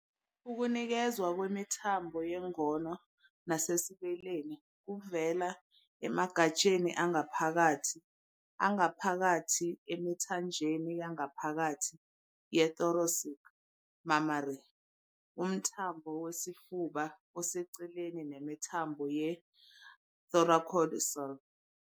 Ukunikezwa kwemithambo yengono nasesibeleni kuvela emagatsheni angaphakathi angaphakathi emithanjeni yangaphakathi ye-thoracic, mammary, umthambo wesifuba oseceleni, nemithambo ye-thoracodorsal.